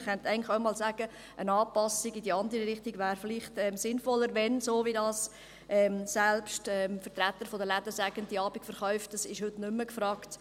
Man könnte eigentlich auch einmal sagen, eine Anpassung in die andere Richtung wäre vielleicht sinnvoller, wenn die Abendverkäufe heute nicht mehr gefragt sind, so wie dies selbst die Vertreter der Läden sagen.